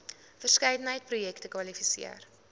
verskeidenheid projekte kwalifiseer